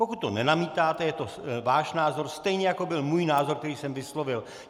Pokud to nenamítáte, je to váš názor, stejně jako byl můj názor, který jsem vyslovil.